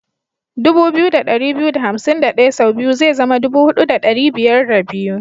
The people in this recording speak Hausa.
2251 sau biyu zai zama 4502.